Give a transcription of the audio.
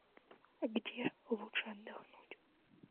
где лучше отдохнуть